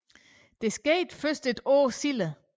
Det skete først et år senere